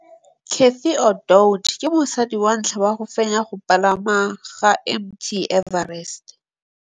Cathy Odowd ke mosadi wa ntlha wa go fenya go pagama ga Mt Everest.